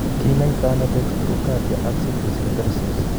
Kinaitano dextrocardia ak situs inversus?